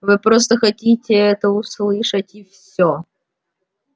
вы просто хотите это услышать и все